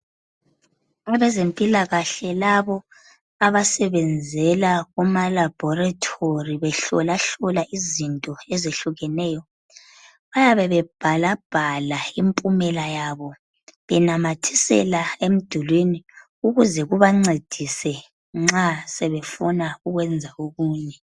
Abezempila kahle labo abasebenzela kuma laborotory behlola hlola izinto ezehlukeneyo bayabe bebhalabhala impumela yabo benamathisela emdulwini ukuze kubancedise nxa sebefuna ukwenza okunye.